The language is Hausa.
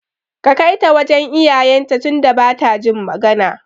Ka Kaita wajan iyayen ta tunda bata jin magana